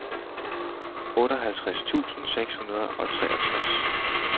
otteoghalvtreds tusind seks hundrede og treogtres